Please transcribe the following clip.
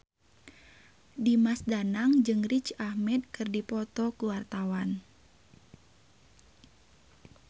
Dimas Danang jeung Riz Ahmed keur dipoto ku wartawan